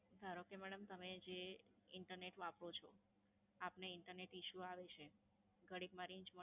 ધારો કે, મેડમ તમે જે Internet વાપરો છો, આપને Internet issue આવે છે. ઘડીકમાં Range મળે